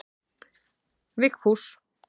Vigfús